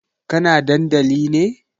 Kana dandali ne?